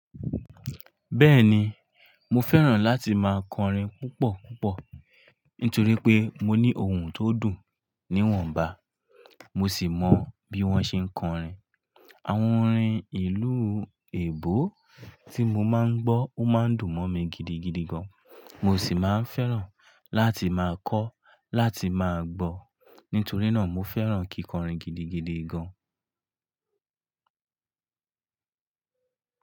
Bẹ́ẹ̀ni, mo fẹ́ràn láti máa kọrin púpọ̀ púpọ̀ nítorí pé mo ní ohun tó dùn níwọ̀nba, mo sì mọ bí wọ́n ṣe ń kọrin. Àwọn orin ìlú èebó tí mo máa ń gbọ́ ó máa ń dùn mọ́ mi gidigidi gan, mo sì máa ń fẹ́ràn láti máa kọ́ láti máa gbọ́. Nítorí náà mo fẹ́ràn kíkọrin gidigidi gan.